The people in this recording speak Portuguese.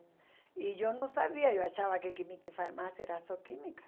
E eu não sabia, eu achava que química e farmácia era só química.